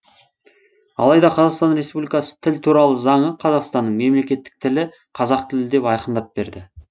алайда қазақстан республикасы тіл туралы заңы қазақстанның мемлекеттік тілі қазақ тілі деп айқындап берді